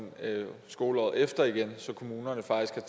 skoleåret efter igen så kommunerne faktisk